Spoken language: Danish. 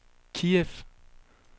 Kiev